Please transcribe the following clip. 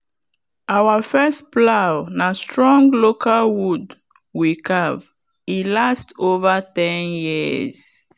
our first plow na strong local wood we carve e last over ten years.